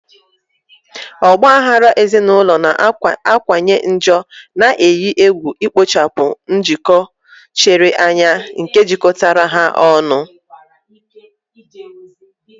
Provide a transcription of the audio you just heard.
Ọgba aghara ezinụlọ na-akawanye njọ, na-eyi egwu ikpochapụ njikọ chiri anya nke jikọtara ha ọnụ.